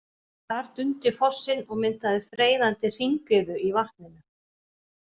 Þar dundi fossinn og myndaði freyðandi hringiðu í vatninu.